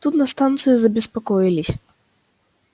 тут на станции забеспокоились